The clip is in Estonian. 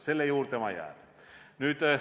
Selle juurde ma jään.